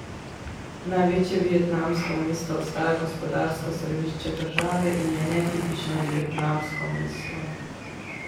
Največje vietnamsko mesto ostaja gospodarsko središče države in je netipično vietnamsko mesto.